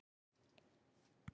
Frosti, hvað er jörðin stór?